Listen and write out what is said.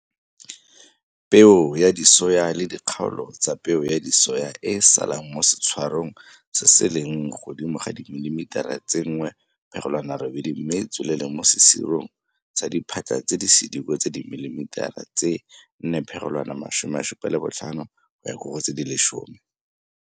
Peo ya disoya le dikgaolo tsa peo ya disoya e e salang mo setshwarong se se leng godimo ga dimilimitara tse 1,8 mme e tswelele mo sesirong sa diphatlha tse di sediko tsa dimilimitara tse 4,75 - 10.